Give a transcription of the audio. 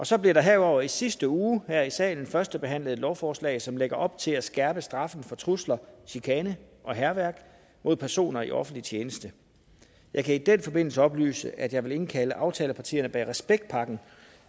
så blev der herudover i sidste uge her i salen førstebehandlet et lovforslag som lægger op til at skærpe straffen for trusler chikane og hærværk mod personer i offentlig tjeneste jeg kan i den forbindelse oplyse at jeg vil indkalde aftalepartierne bag respektpakken